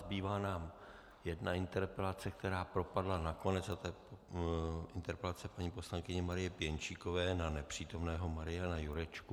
Zbývá nám jedna interpelace, která propadla nakonec, a to je interpelace paní poslankyně Marie Pěnčíkové na nepřítomného Mariana Jurečku.